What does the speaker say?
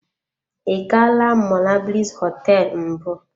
I gaala monablis hoteelu mbụ.